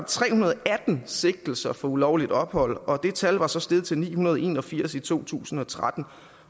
tre hundrede og atten sigtelser for ulovligt ophold og det tal var så steget til ni hundrede og en og firs i to tusind og tretten